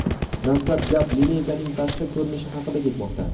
Dastlab gap lineykaning tashqi ko‘rinishi haqida ketmoqda.